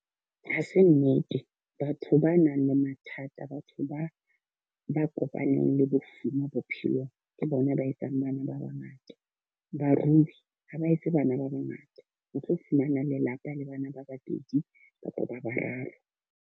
Ha se nnete, batho ba nang le mathata, batho ba ba kopanyang le bofuma bophelong. Ke bona ba etsang bana ba ba ngata. Barui ha ba etse bana ba ba ngata. O tlo fumana lelapa le bana ba babedi kapa ba bararo.